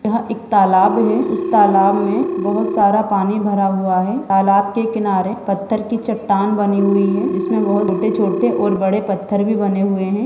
यहाँ एक तालाब है उस तालाब में बहुत सारा पानी भरा हुआ है तालाब के किनारे पत्थर की चट्टान बनी हुई है इसमें बहुत छोटे छोटे और बड़े पत्थर भी बने हुए--